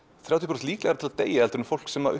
þrjátíu prósent líklegra til að deyja en fólk sem